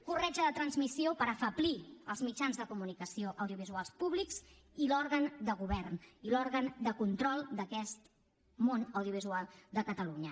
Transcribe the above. corretja de transmissió per afeblir els mitjans de comunicació audiovisuals públics i l’òrgan de govern i l’òrgan de control d’aquest món audiovisual de catalunya